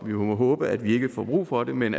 vi må håbe at vi ikke får brug for det men